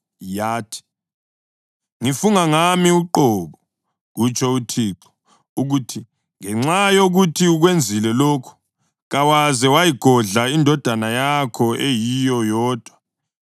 yathi, “Ngifunga ngami uqobo, kutsho uThixo, ukuthi ngenxa yokuthi ukwenzile lokhu, kawaze wayigodla indodana yakho eyiyo yodwa,